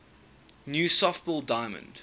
new softball diamond